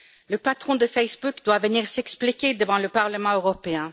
Le patron de Facebook doit venir s'expliquer devant le Parlement européen.